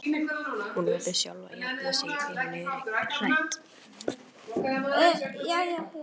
Hún verður sjálf að jafna sig ef hún er hrædd.